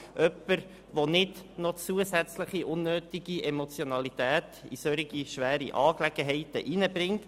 Es braucht jemanden, der nicht noch zusätzliche, unnötige Emotionalität in solch schwere Angelegenheiten bringt.